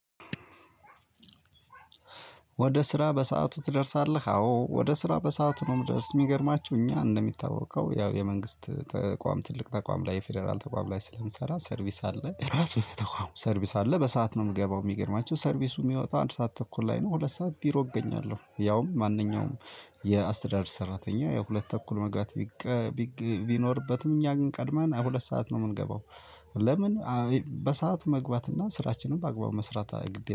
ወደ ስራ በሰአቱ ትደርሳለህ? አዎ ወደ ስራ በሰአቱ ነው የምደርስ። የሚገርማችሁ እኛ እንደሚታወቀው ያው የመንግስት ተቋም ትልቅ ተቋም ላይ የፌደራል ተቋም ላይ ስለምሰራ ሰርቪስ አለ። ራሱ ሰርቪስ አለ በሰአት ነው የምገባው። የሚገርማቸው ሰርቪሱ የሚወጣ አንድ ሰዓት ተኩል ላይ ነው ሁለት ሰዓት ቢሮ እገኛለሁ። ያውም ማንኛውም የአስተዳደር ሰራተኛ ያው ሁለት ተኩል መግባት ቢኖርበትም እኛ ግን ቀድመን ሁለት ሰዓት ነው የምንገባው ለምን? በሰአት መግባት እና ስራችንን በአግባቡ መስራት አይገድምም